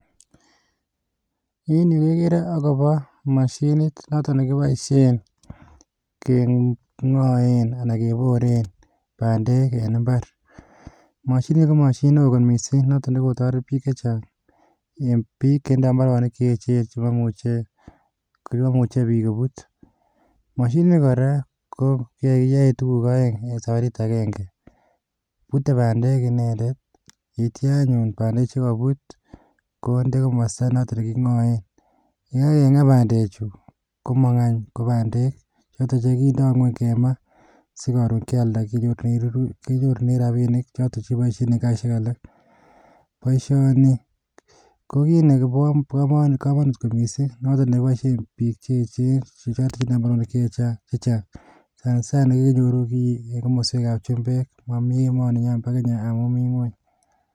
En yu kegere akobo mashinit, newton nekiboishien kengoen anan keboren bandek en imbaar. Mashinit nii, komashinit newo kot missing, nekotoret bik chechang, biik chetinye imbaronik Chechen ,chemomuche biik kobuut. Mashinit nii, kora ko kiyoen tuguuk oeng saparit agenge, buten bandek inendet, yeityoo anyun bandek checkout konde komostoo notok nekingoen. Yekakengaa bandechu komong any ko bandek, chotok chekindo ngwony kemaa sikoron kealdaa kenyorune rabinik choton chekiboishien en kasisiek alak .Boishoni ko Bo komonut kot missing, noton nekiboishien biik che echen, chetinye bandek chechang, sanasana, komi emet ab chumbek, momi emoniinyon bo Kenya, amun mi ngwony.